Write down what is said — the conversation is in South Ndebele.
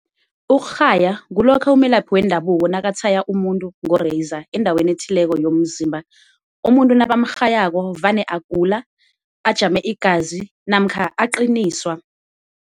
Ukurhaya kulokha umelaphi wendabuko nakatshaya umuntu ngo-razor endaweni ethileko yomzimba. Umuntu nabamrhayako vane agula ajame igazi namkha aqiniswa.